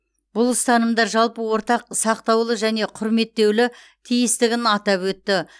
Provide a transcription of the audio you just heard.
бұл ұстанымдар жалпы ортақ сақталуы және құрметтеулі тиістігін атап өтті